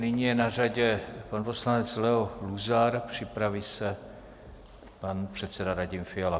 Nyní je na řadě pan poslanec Leo Luzar, připraví se pan předseda Radim Fiala.